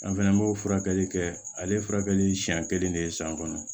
An fana b'o furakɛli kɛ ale ye furakɛli siɲɛ kelen de ye san kɔnɔ